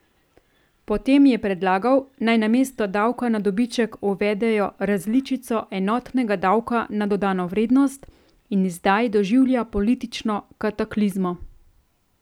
Potem je predlagal, naj namesto davka na dobiček uvedejo različico enotnega davka na dodano vrednost, in zdaj doživlja politično kataklizmo.